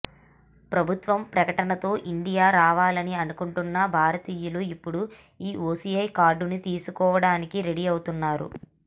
ప్రభుత్వం ప్రకటనతో ఇండియా రావాలని అనుకుంటున్న భారతీయులు ఇప్పుడు ఈ ఓసీఐ కార్డుని తీసుకోవడానికి రెడీ అవుతున్నారు